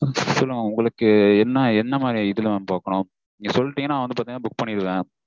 okay mam உங்களுக்கு என்ன என்ன இது மாதிரி இதுல பாக்கணும் நீங்க சொல்லீட்டீங்கனா நான் வந்து பாத்தீங்கனா book பண்ணிடுவன்.